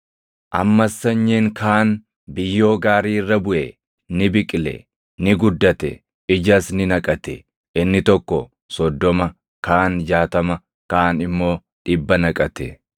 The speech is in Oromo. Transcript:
Ammas sanyiin kaan biyyoo gaarii irra buʼe. Ni biqile; ni guddate; ijas ni naqate. Inni tokko soddoma, kaan jaatama, kaan immoo dhibba naqate.”